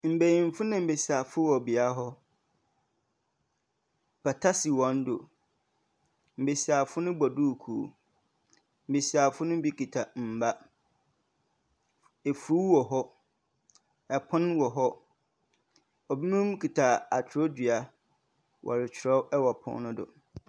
Mbenyinfo na mbesiafo wɔ bea hɔ. Pata si hɔn do. Mbesiafo no bɔ duukuu. Mbesiafo no bi kita mba. Efuw wɔ hɔ, apon wɔ hɔ. Binom kita akyerɛwdua wɔrekyerɛw wɔ po no do.